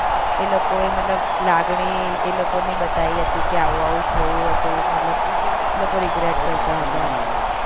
એ લોકો એ મતલબ લાગણી એ લોકો ની બતાવી કે આવું આવું થયું હતું મતલબ એ લોકો regret કરતા હતા